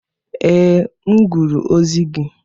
Ee, m gụrụ ozi gị.